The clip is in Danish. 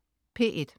P1: